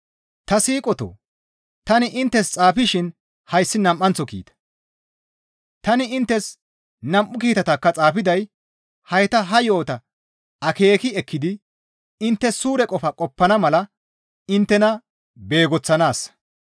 Ta siiqotoo! Tani inttes xaafishin hayssi nam7anththo kiita; tani inttes nam7u kiitatakka xaafiday hayta ha yo7ota akeeki ekkidi intte suure qofa qoppana mala inttena beegoththanaassa.